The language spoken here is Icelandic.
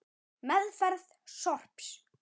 Meðferð sorps